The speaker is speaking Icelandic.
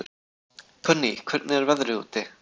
Konný, hvernig er veðrið úti?